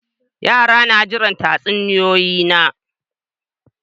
Yara suna jiran tatsuniyoyi na.